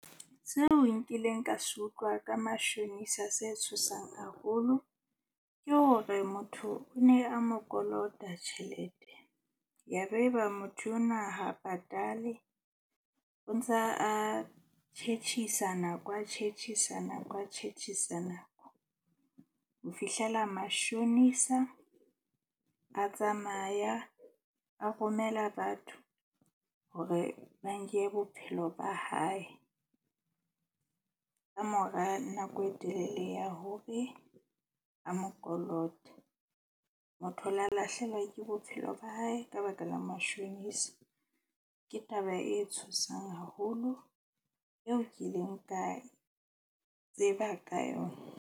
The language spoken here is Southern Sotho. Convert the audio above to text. Seo nkileng ka se utlwa ka mashonisa se tshosang haholo ke hore motho o ne a mo kolota tjhelete, ya be eba motho ona ha patale. O ntsa a tjhetjhisa nako, a tjhetjhisa nako, a tjhetjhisa nako ho fihlela mashonisa a tsamaya a romela batho hore ba nke bophelo ba hae. Kamora nako e telele ya hore a mo kolote. Motho o la lahlehelwa ke bophelo ba hae ka baka la mashonisa. Ke taba e tshosang haholo eo ke ileng ka tseba ka yona.